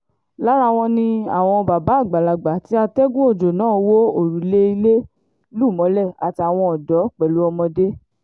lára wọn ni àwọn bàbá àgbàlagbà tí atẹ́gùn ọjọ́ náà wọ òrùlé ilé lù mọ́lẹ̀ àtàwọn ọ̀dọ́ pẹ̀lú ọmọdé